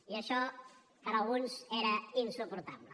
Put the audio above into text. i això per alguns era insuportable